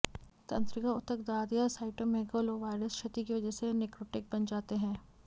तंत्रिका ऊतक दाद या साइटोमेगालोवायरस क्षति की वजह से नेक्रोटिक बन जाते हैं